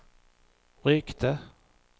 ryckte